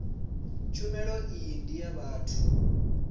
tshumelo iyi ndi ya vhathu